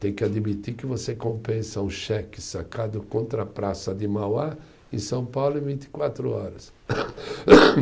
Tem que admitir que você compensa um cheque sacado contra a praça de Mauá em São Paulo em vinte e quatro horas.